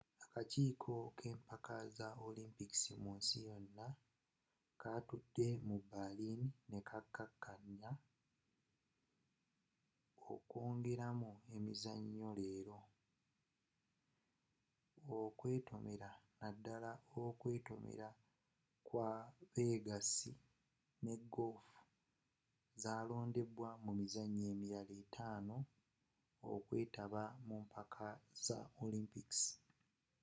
akakiiko k'empaka za olimpikisi munsi yona kaatudde mu berlin nekakaanya okwongeramu emizanyo leero okwetomera naddala okwetomera kw'abegasi nne golofu zalondedwa mumizanyo emirala etanu okwetaba mumpaka za olimpikisi